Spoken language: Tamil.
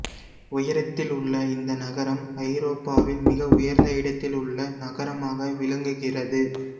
உயரத்தில் உள்ள இந்த நகரம் ஐரோப்பாவில் மிக உயர்ந்த இடத்தில் உள்ள நகரமாக விளங்குகிறது